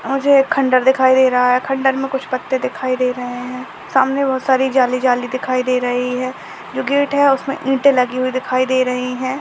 मुझे एक खंडर दिखाई दे रहा है खंडर मैं कुछ पत्ते दिखाई दे रहे है सामने बहुत सारी जाली-जाली दिखाई दे रही है जो गेट है उसमे ईटे लगी हुई दिखाई दे रही है।